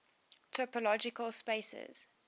topological spaces